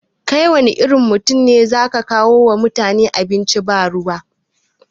Kai wanne irin mutum ne ya zaka kawo wa mutane abinci ba ruwa